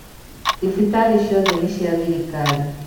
Thibitarĩciothe nĩcia thirikari.